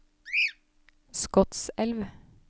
Skotselv